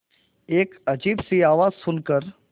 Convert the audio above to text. एक अजीब सी आवाज़ सुन कर